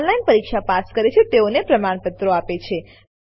જેઓ ઓનલાઈન પરીક્ષા પાસ કરે છે તેઓને પ્રમાણપત્રો આપે છે